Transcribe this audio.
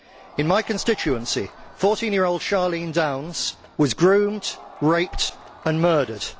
In my constituency, 14 year old Charlene Downes was groomed, raped and murdered.